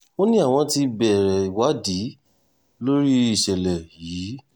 ó ní àwọn ti bẹ̀rẹ̀ ìwádìí lórí ìṣẹ̀lẹ̀ yìí